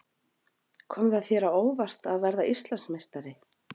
Kom þér það á óvart að verða Íslandsmeistari?